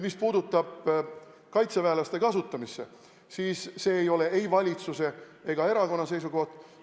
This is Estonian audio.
Mis puutub kaitseväelaste kasutamisse, siis see ei ole ei valitsuse ega erakonna seisukoht.